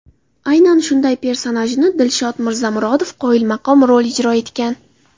Aynan shunday personajni Dilshod Mirzamurodov qoyilmaqom ijro etgan.